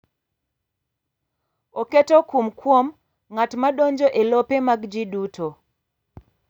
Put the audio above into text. Oketo kum kuom ng’at ma donjo e lope mag ji duto.